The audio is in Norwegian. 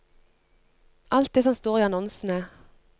Alt det som står i annonsene.